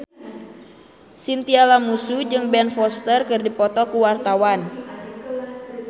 Chintya Lamusu jeung Ben Foster keur dipoto ku wartawan